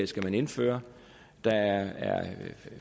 skal man indføre der er